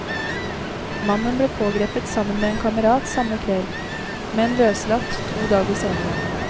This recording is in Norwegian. Mannen ble pågrepet sammen med en kamerat samme kveld, men løslatt to dager senere.